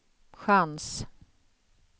chans